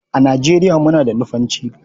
A Nigeriya muna da Nufanci.